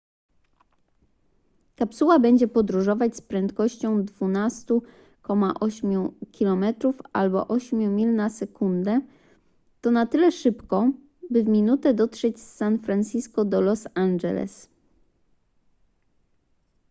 kapsuła będzie podróżować z prędkością 12,8 km albo 8 mil na sekundę to na tyle szybko by w minutę dotrzeć z san francisco do los angeles